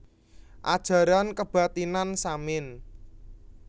Ajaran Kebathinan Samin